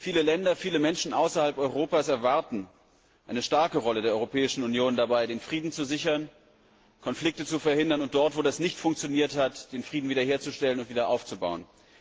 Viele Länder, viele Menschen außerhalb Europas erwarten eine starke Rolle der Europäischen Union, den Frieden zu sichern, Konflikte zu verhindern und dort, wo das nicht funktioniert hat, den Frieden wiederherzustellen und wiederaufzubauen.